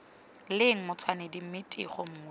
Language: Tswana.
leng matshwanedi mme tiego nngwe